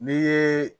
N'i ye